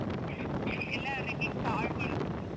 ಎಲ್ಲ remix ಹಾಡ್ಗಳು.